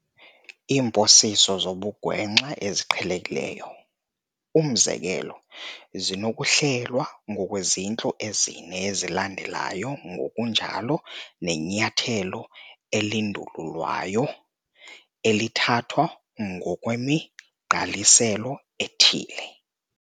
Iimposiso zobugwenxa eziqhelekileyo, umzekelo zinokuhlelwa ngokwezintlu ezine ezilandelayo ngokunjalo nenyathelo elindululwayo elithathwa ngokwemigqaliselo ethile.